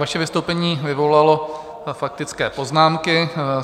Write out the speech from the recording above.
Vaše vystoupení vyvolalo faktické poznámky.